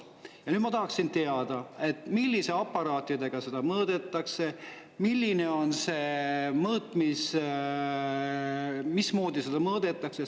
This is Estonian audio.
Ja ma tahaksin teada, millise aparaadiga seda mõõdetakse ja mismoodi seda mõõdetakse.